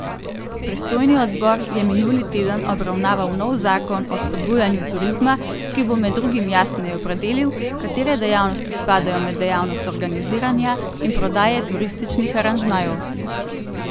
Pristojni odbor je minuli teden obravnaval nov Zakon o spodbujanju turizma, ki bo med drugim jasneje opredelil, katere dejavnosti spadajo med dejavnost organiziranja in prodaje turističnih aranžmajev.